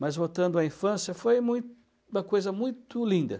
Mas voltando à infância, foi mui uma coisa muito linda.